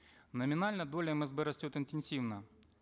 номинально доля мсб растет интенсивно